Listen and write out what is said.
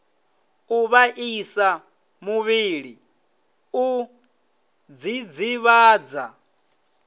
u vhaisa muvhili u dzidzivhadza